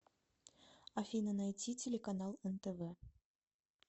афина найти телеканал нтв